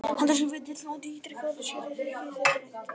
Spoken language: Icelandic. Hann dæsir við dyrnar og ítrekar að sér þyki þetta leitt.